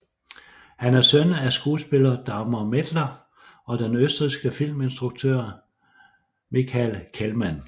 Han er søn af skuespiller Dagmar Mettler og den østrigske filminstruktør Michael Kehlmann